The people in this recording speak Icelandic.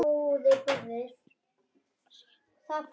Svo herti hann sig upp.